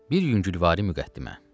Bir yüngülvari müqəddimə.